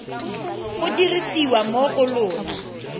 go dirisiwa mo go lona